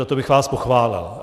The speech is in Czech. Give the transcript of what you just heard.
Za to bych vás pochválil.